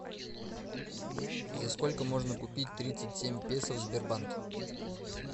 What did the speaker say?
за сколько можно купить тридцать семь песо в сбербанке